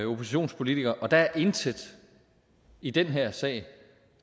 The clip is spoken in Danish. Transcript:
oppositionspolitiker at der er intet i den her sag